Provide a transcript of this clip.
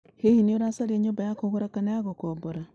Hihi nĩ ũracaria nyũmba ya kũgũra kana ya gũkombora?